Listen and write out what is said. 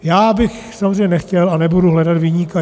Já bych samozřejmě nechtěl a nebudu hledat viníka.